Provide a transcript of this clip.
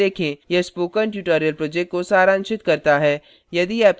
यह spoken tutorial project को सारांशित करता है